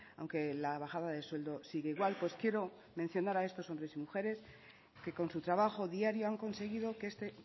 aunque la bajada de sueldo sigue igual pues quiero mencionar a estos hombres y mujeres que con su trabajo diario han conseguido que este